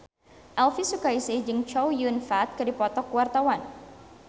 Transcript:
Elvy Sukaesih jeung Chow Yun Fat keur dipoto ku wartawan